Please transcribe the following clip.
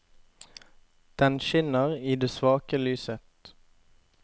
Den skinner i det svake lyset.